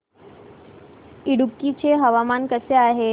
इडुक्की चे हवामान कसे आहे